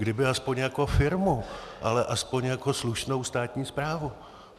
Kdyby aspoň jako firmu, ale aspoň jako slušnou státní správu.